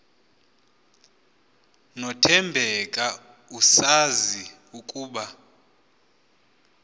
nothembeka esazi ukuba